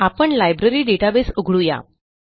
आपण library database उघडू या